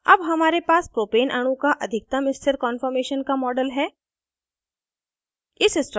अब हमारे पास propane अणु का अधिकतम स्थिर कान्फॉर्मेशन का model है